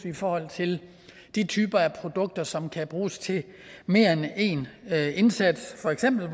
i forhold til de typer af produkter som kan bruges til mere end én indsats for eksempel